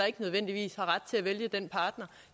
ikke nødvendigvis ret til at vælge den partner